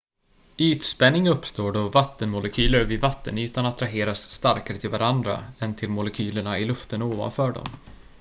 ytspänning uppstår då vattenmolekyler vid vattenytan attraheras starkare till varandra än till molekylerna i luften ovanför dem